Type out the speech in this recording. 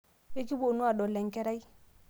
ekipuonu aadol enkerai